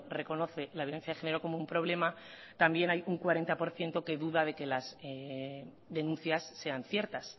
reconoce la violencia de género como un problema también hay un cuarenta por ciento que duda de que las denuncias sean ciertas